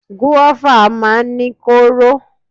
Gúrófà máa ń ní kóóró.